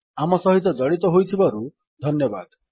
ଆମ ସହିତ ଜଡ଼ିତ ହୋଇଥିବାରୁ ଧନ୍ୟବାଦ